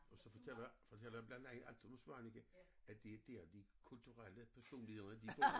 Og så fortæller fortæller jeg blandt andet at i Svaneke at det er dér de kulturelle personligheder de bor